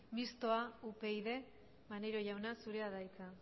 mistoa upyd maneiro jauna zurea da hitza